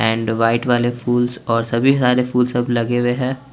and white वाले फूलस और सभी सरे फूलस लगे हुए हैं--